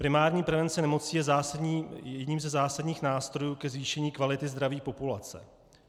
Primární prevence nemocí je jedním ze zásadních nástrojů ke zvýšení kvality zdraví populace.